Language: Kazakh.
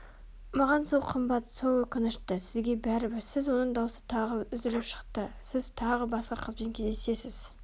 маған сол қымбат сол өкінішті сізге бәрібір сіз оның даусы тағы үзіліп шықты сіз тағы басқа қызбен кездесесіз